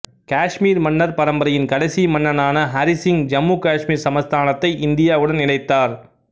காஷ்மீர் மன்னர் பரம்பரையின் கடைசி மன்னனான ஹரிசிங் ஜம்மு காஷ்மீர் சமஸ்தானத்தை இந்தியாவுடன் இணைத்தார்